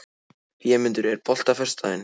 Vémundur, er bolti á föstudaginn?